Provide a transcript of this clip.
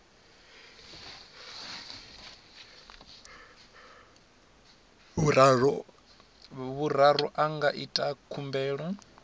vhuraru a nga ita khumbelo